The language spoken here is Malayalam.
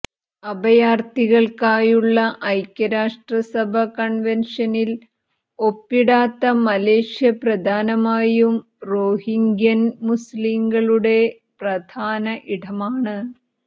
അഭയാർഥികൾക്കായുള്ള ഐക്യരാഷ്ട്ര സഭ കൺവെൻഷനിൽ ഒപ്പിടാത്ത മലേഷ്യ പ്രധാനമായും റോഹിങ്ക്യൻ മുസ്ലിംകളുടെ പ്രധാന ഇടമാണ്